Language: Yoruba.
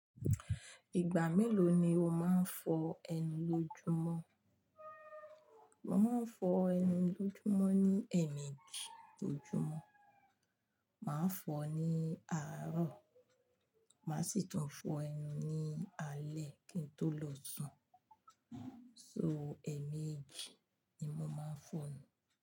Ìgbà mélòó ni o máa ń fọ ẹnu lójúmọ́? Mo máa ń fọ ẹnu lójúmọ́ ní ẹ̀ẹ̀mejì ojúmọ́, màá fọ ní àárọ̀, màá sì tún fọ ẹnu ní alẹ́ kí n tó lọ sùn. So ẹ̀ẹ̀mejì ni mo máa ń fọ ẹnu.